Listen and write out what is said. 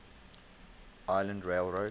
island rail road